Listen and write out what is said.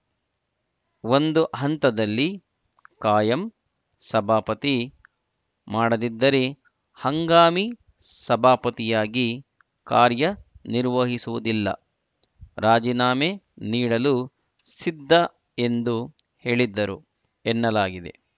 ಒಂದು ಹಂತದಲ್ಲಿ ಕಾಯಂ ಸಭಾಪತಿ ಮಾಡದಿದ್ದರೆ ಹಂಗಾಮಿ ಸಭಾಪತಿಯಾಗಿ ಕಾರ್ಯ ನಿರ್ವಹಿಸುವುದಿಲ್ಲ ರಾಜೀನಾಮೆ ನೀಡಲು ಸಿದ್ಧ ಎಂದು ಹೇಳಿದ್ದರು ಎನ್ನಲಾಗಿದೆ